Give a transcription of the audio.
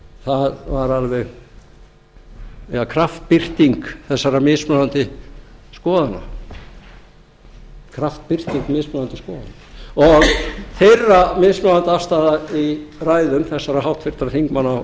það var alveg kraftbirting þessara mismunandi skoðana kraftbirting mismunandi skoðana og þeirra mismunandi afstaða í ræðum þessara háttvirtra þingmanna úr